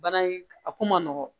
Bana in a ko man nɔgɔn